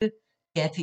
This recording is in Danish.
DR P1